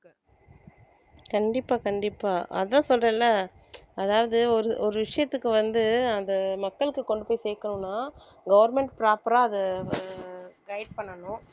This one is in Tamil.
கண்டிப்பா கண்டிப்பா அதான் சொல்றேன்ல அதாவது ஒரு ஒரு விஷயத்துக்கு வந்து அந்த மக்களுக்கு கொண்டு போய் சேர்க்கணும்ன் government proper ஆ அதை அஹ் அஹ் guide பண்ணணும்